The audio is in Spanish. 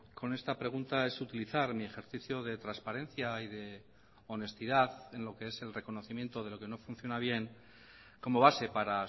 con esta pregunta es utilizar mi ejercicio de transparencia y de honestidad en lo que es el reconocimiento de lo que no funciona bien como base para